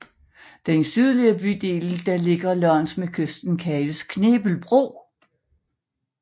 Den sydlige bydel der ligger langs med kysten kaldes Knebel Bro